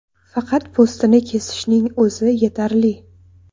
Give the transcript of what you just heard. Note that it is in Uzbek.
Faqat po‘stini kesishning o‘zi yetarli.